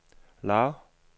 lav